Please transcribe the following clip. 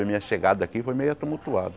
A minha chegada aqui foi meia tumultuada.